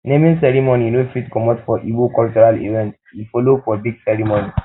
naming ceremony no fit comot for igbo cultural event e follow for big ceremony